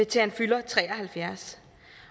til han fylder tre og halvfjerds